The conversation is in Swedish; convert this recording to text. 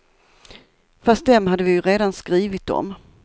Fast dem hade vi ju redan skrivit om.